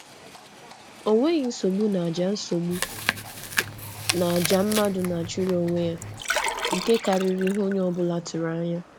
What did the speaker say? Ọ hụrụ udo n’ihe omume e ji emume, n’ihi na ọ nwere ihe ọ pụtara n’obi ya karịa ihe a na-atụ anya n’omenala.